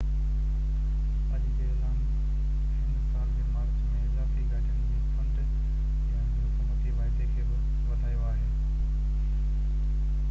اڄ جي اعلان هن سال جي مارچ ۾ اضافي گاڏين جو فنڊ ڏيڻ جي حڪومتي واعدي کي بہ وڌايو آهي